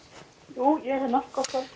jú ég er hérna